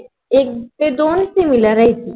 एक ते दोन Similarice